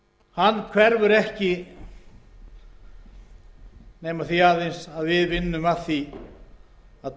vandinn hverfur ekki nema því aðeins að við vinnum skipulega að því að